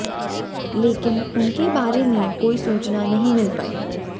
लेकिन उनके बारे में कोई सूचना नहीं मिल पाई